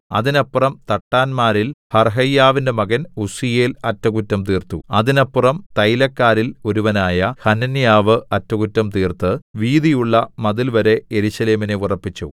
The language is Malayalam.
അതിനപ്പുറം തട്ടാന്മാരിൽ ഹർഹയ്യാവിന്റെ മകൻ ഉസ്സീയേൽ അറ്റംകുറ്റം തീർത്തു അതിനപ്പുറം തൈലക്കാരിൽ ഒരുവനായ ഹനന്യാവ് അറ്റകുറ്റം തീർത്ത് വീതിയുള്ള മതിൽവരെ യെരൂശലേമിനെ ഉറപ്പിച്ചു